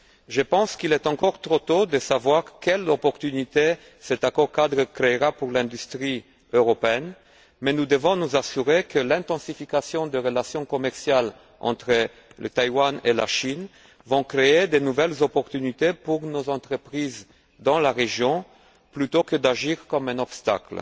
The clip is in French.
Je pense qu'il est encore trop tôt pour savoir quelle opportunité cet accord cadre créera pour l'industrie européenne, mais nous devons nous assurer que l'intensification des relations commerciales entre Taïwan et la Chine va créer de nouvelles opportunités pour nos entreprises dans la région, plutôt que d'agir comme un obstacle.